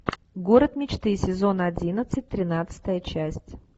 город мечты сезон одиннадцать тринадцатая часть